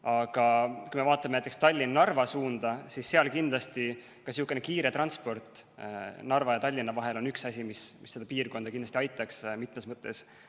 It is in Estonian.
Aga kui me vaatame näiteks Tallinna–Narva suunda, siis seal on kindlasti kiire transport Narva ja Tallinna vahel üks asi, mis seda piirkonda kindlasti aitaks, mitmes mõttes.